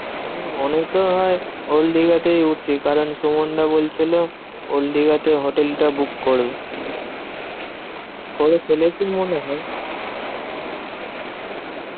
হম মনেতো হয় ওল্ড দিঘাতেই উঠছি। কারণ সুমনদা বলছিল ওল্ড দিঘাতেই হোটেলটা book করবে। করে ফেলেছে মনে হয়।